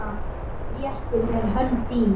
Réttir mér hönd þína.